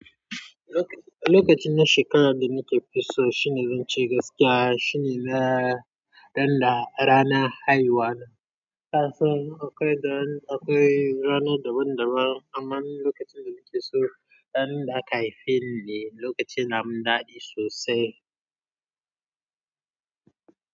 Lokacin da shekara da nake so shine zan ce gaskiya shine ranar haihuwa. Kasan, akwai ranar daban-daban amma lokacin da nake so ran da aka haife ni ne lokacin namin dadi sosai.